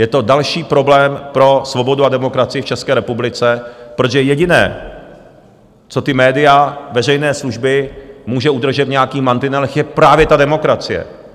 Je to další problém pro svobodu a demokracii v České republice, protože jediné, co ta média veřejné služby může udržet v nějakých mantinelech, je právě ta demokracie.